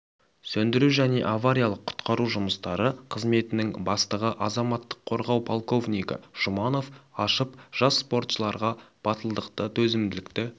сөндіру және авариялық-құтқару жұмыстары қызметінің бастығы азаматтық қорғау полковнигі жұманов ашып жас спортшыларға батылдықты төзімділікті